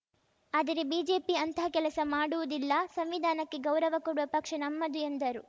ಆದರೆ ಬಿಜೆಪಿ ಅಂತಹ ಕೆಲಸ ಮಾಡುವುದಿಲ್ಲ ಸಂವಿಧಾನಕ್ಕೆ ಗೌರವ ಕೊಡುವ ಪಕ್ಷ ನಮ್ಮದು ಎಂದರು